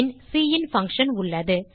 பின் sin function உள்ளது